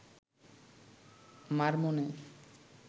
মার মনে